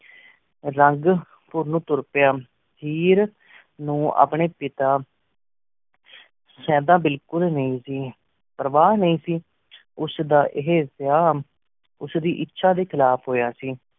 ਰੰਘ ਪੁਰ ਨੂੰ ਤੁਰ ਪੇਯ ਹੇਅਰ ਨੂੰ ਅਪਨ੍ਯਨ ਪਿਤਾ ਸਦਾ ਬਿਲਕੁਲ ਨੀ ਸੀ ਪੇਰ੍ਵਾ ਨੀ ਸੀ ਉਸ ਦਾ ਰਹੀ ਵੇਯਾ ਉਸ ਦੀ ਇਛਾ ਡੀ ਖਿਲਾਫ਼ ਹੂਯ ਸੀ